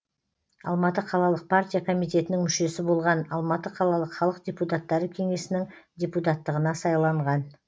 алматы қалалық партия комитетінің мүшесі болған алматы қалалық халық депутаттары кеңесінің депутаттығына сайланған